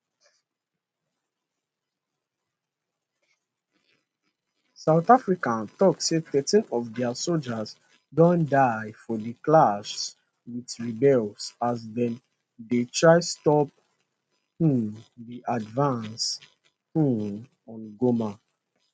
south africa tok say thirteen of dia sojas don die for di clashes wit rebels as dem dey try stop um di advance um on goma